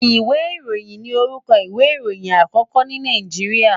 Ìwé ìròhìn ni orúkọ ìwé ìròyìn àkókó ní Nàìjíríà.